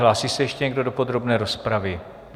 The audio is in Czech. Hlásí se ještě někdo do podrobné rozpravy?